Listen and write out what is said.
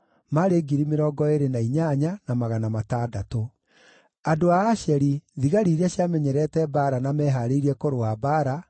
andũ a Asheri, thigari iria ciamenyerete mbaara na mehaarĩirie kũrũa mbaara, maarĩ 40,000;